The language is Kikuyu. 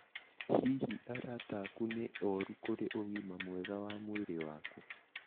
Hihi arata aku nĩ oru kũri ũgima mwega wa mwĩrĩ waku?